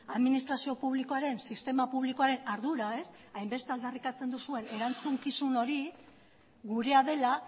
administrazio publikoaren sistema publikoaren ardura hainbeste aldarrikatzen duzuen erantzukizun hori gurea dela